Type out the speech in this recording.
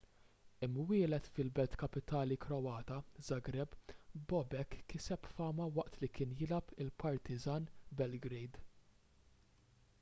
imwieled fil-belt kapitali kroata żagreb bobek kiseb fama waqt li kien jilgħab għal partizan belgrade